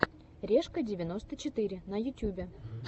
решка девяносто четыре на ютюбе